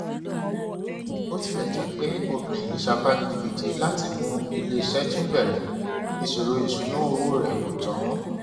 bó tilẹ jẹ pé obìnrin yìí sapá gidigidi láti mú ilé iṣẹ tún bẹrẹ ìṣòro ìṣúnná owó rẹ kò tán